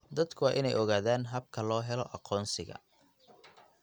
Dadku waa inay ogaadaan habka loo helo aqoonsiga.